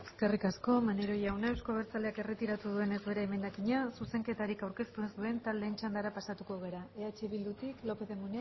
eskerrik asko maneiro jauna euzko abertzaleak erretiratu duenez bere emendakina zuzenketarik aurkeztu ez duten taldeen txandara pasatuko gara eh bildutik lópez de munain